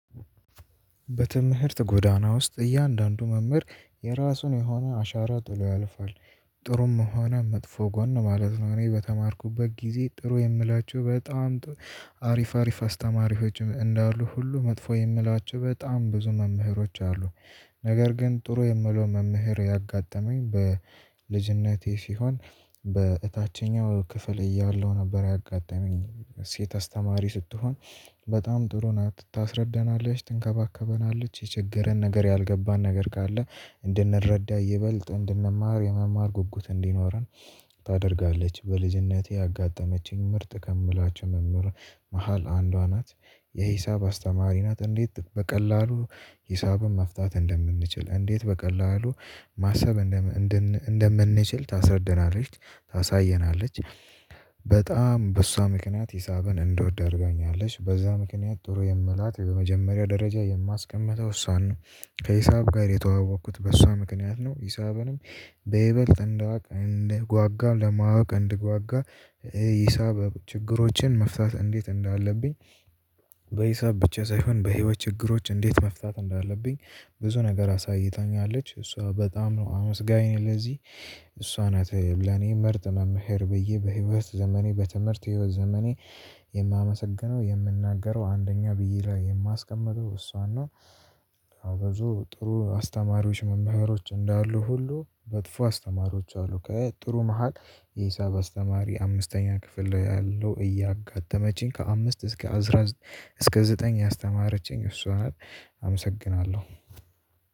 በትምህርት ጎዳና ውስጥ እያንዳንዱ መምህር የራሱን የሆነ አሻራ ጥሎ ያልፋል ጥሩም ሆነ መጥፎ ጎን ነው ማለት ነው። እኔ በተማርኩበት ጊዜ ጥሩ የምላቸው በጣም አሪፍ አሪፍ አስተማሪዎች እንዳሉ ሁሉ መጥፎ የምላቸው በጣም ብዙ መምህሮች አሉ። ነገር ግን ጥሩ የምለው መምህር ያጋጠመኝ በልጅነቴ ሲሆን በእታችኛው ክፍል እያለው ነበር ያጋጠመኝ ሴት አስተማሪ ስትሆን በጣም ጥሩ ናት ታስረዳናለች ትንከባከበናለች የቸገረን ነገር ያልገባን ነገር ጋር ካለ እንድንረዳ ይበለጥ እንድንማር የመማር ጉጉት እንዲኖረን። ታደርጋለች በልጅነቴ ያጋጠመችኝ ምርጥ ከምላቸው መምህር መሃል አንዷ ናት። የሂሳብ አስተማሪ ናት እንዴት በቀላሉ ሂሳብም መፍታት እንደምንችል እንዴት በቀላሉ ማሰብ። እንደምንችል ታስረድናለች ታሳየናለች። በጣም በእሷ ምክንያት ሂሳብን እንደወደድኩኝ አለች በዛ ምክንያት ጥሩ የምላት የመጀመሪያ ደረጃ የማስቀምጠው እሷን ነው። ከሂሳብ ጋር የተዋወቅኩት በሷ ምክንያት ነው። ሂሳብንም በይበልጥ እንዳውቅ እንድጓጓ ለማወቅ እንድጓጓ ሂሳብ ችግሮችን መፍታት እንዴት እንዳለብኝ። በሂሳብ ብቻ ሳይሆን በህይወት ችግሮች እንዴት መፍታት እንዳለብኝ ብዙ ነገር አሳይታኛለች እሷ በጣም ነው አመስጋኝ ነኝ ለዚህ። እሷ ናት ለኔ ምርጥ መምህር ብዬ በህይወት ዘመኔ በትምህርት የህይወት ዘመኔ የማመሰግነው የምናገረው አንደኛ ብይ ላይ የማስቀምጠው እሷን ነው። አበዙ ጥሩ አስተማሪዎች መባህሮች እንዳሉ ሁሉ በጥፎ አስተማሪዎች አሉ ከ ጥሩ መሃል ሂሳብ አስተማሪ አምስተኛ ክፍል ላይ ያለው እያጋጠመችኝ ከአምስት እስከ አስራ እስከ ዘጠኝ ያስተማረችኝ እሷን አመሰግናለሁ።